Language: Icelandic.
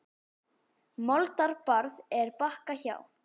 Moldar barð er Bakka hjá.